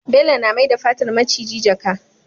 Bello na mai da fatar miciji jaka